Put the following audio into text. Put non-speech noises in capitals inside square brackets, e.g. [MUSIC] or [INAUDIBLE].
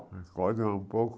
O [UNINTELLIGIBLE] é um pouco...